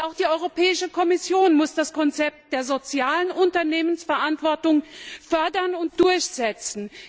Auch die Europäische Kommission muss das Konzept der sozialen Unternehmensverantwortung fördern und durchsetzen.